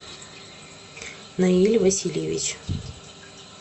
наиль васильевич